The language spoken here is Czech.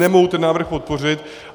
Nemohu ten návrh podpořit.